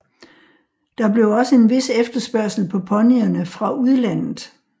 Der blev også en vis efterspørgsel på ponyerne fra udlandet